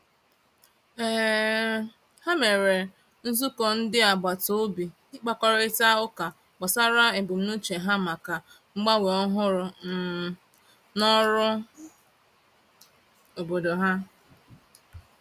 um Ha mere nzukọ ndị agbataobi ịkpakọrịta ụka gbasara ebumnuche ha maka mgbanwe ọhụrụ um n'ọrụ obodo ha.